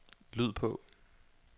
lyd på